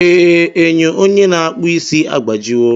Ee, enyo onye na-akpụ isi agbajiwo